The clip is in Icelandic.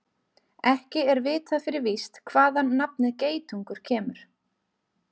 Ekki er vitað fyrir víst hvaðan nafnið geitungur kemur.